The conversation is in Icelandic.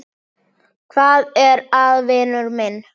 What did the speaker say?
Hvað er að, vinur minn?